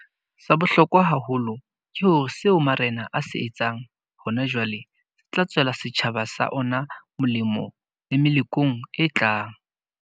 Sa bohlokwa haholo ke hore seo marena a se etsang hona jwale se tla tswela setjhaba sa ona molemo le melokong e tlang.